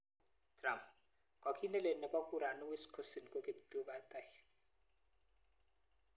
Trump:Kokiit nelel nebo kurani Wisconsin ko kiptubatai.